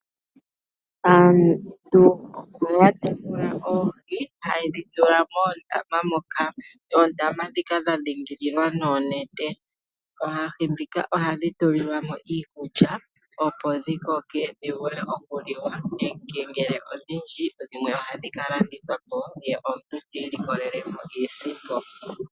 Aantu ohaya tekula oohi, hayedhi tula moondama ndhoka dha dhingililwa noonete. Oohi ndhika ohadhi tulilwa mo iikulya opo dhi koke dhi vule oku liwa nenge ngele odhindji dhimwe ohadhi ka landithwa po ye omuntu ti ilikolele mo iisimpo.